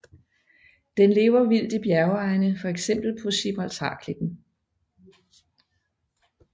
Den lever vildt i bjergegne fx på Gibraltarklippen